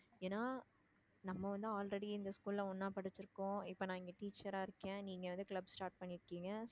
ஏன்னா நம்ம வந்து already இந்த school ல ஒண்ணா படிச்சிருக்கோம் இப்ப நான் இங்க teacher ரா இருக்கேன் நீங்க வந்து club start பண்ணிருக்கீங்க